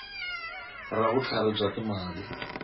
ra vutlharhi bya swa timali